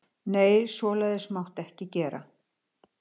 Nei, svoleiðis mátti ekki gera.